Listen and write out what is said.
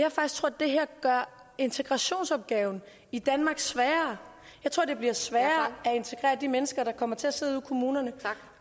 det her gør integrationsopgaven i danmark sværere jeg tror at det bliver sværere at integrere de mennesker der kommer til at sidde ude i kommunerne